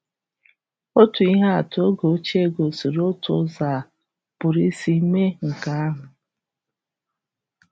Otu ihe atụ oge ochie gosiri otu ụzọ a pụrụ isi mee nke ahụ.